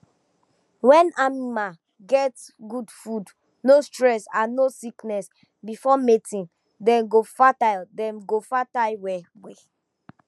when animal get good food no stress and no sickness before mating dem go fertile dem go fertile well well